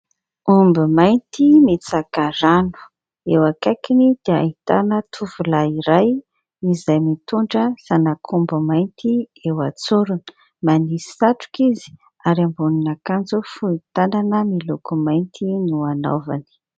Omby mainty mitsaka rano eo akaikiny dia ahitana tovolahy iray izay mitondra zanak'omby mainty eo an-tsorony. Manisy satroka izy ary ambonin'akanjo fohy tanana miloko mainty no anaovany.